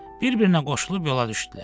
Bir-birinə qoşulub yola düşdülər.